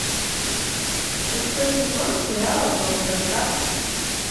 шестой сезон сериала доктор кац